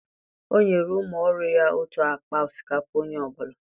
o nyere umu oru ya otu akpa osikapa Onye ọ bụla